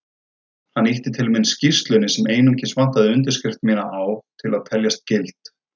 Hann ýtti til mín skýrslunni sem einungis vantaði undirskrift mína á til að teljast gild.